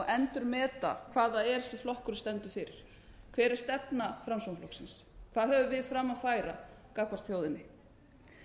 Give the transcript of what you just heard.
endurmeta hvað það er sem flokkurinn stendur fyrir hver er stefna framsóknarflokksins hvað höfum við fram að færa gangvart þjóðinni